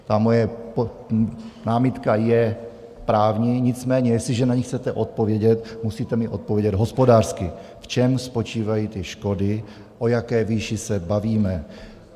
Ta moje námitka je právní, nicméně jestliže na ni chcete odpovědět, musíte mi odpovědět hospodářsky, v čem spočívají ty škody, o jaké výši se bavíme.